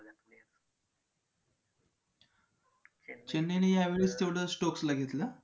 चेन्नईने यावेळेस तेवढं stokes ला घेतलं